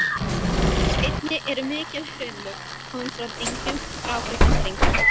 Einnig eru mikil hraunlög komin frá dyngjum, grágrýtisdyngjum.